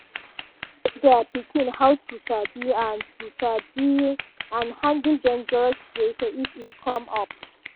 dem teach their pikin how to sabi and to sabi and handle dangerous situation if e come up.